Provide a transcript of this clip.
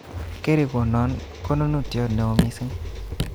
Kerikonon konunotyot neo missing